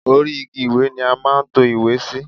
Orí igi ìwé ni a máa ń to ìwé sí.